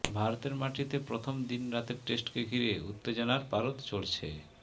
ভারতের মাটিতে প্রথম দিন রাতের টেস্টকে ঘিরে উত্তেজনার পারদ চড়ছে